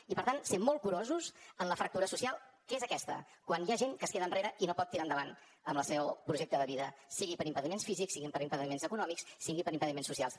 i per tant ser molt curosos amb la fractura social que és aquesta quan hi ha gent que es queda enrere i no pot tirar endavant el seu projecte de vida sigui per impediments físics sigui per impediments econòmics sigui per impediments socials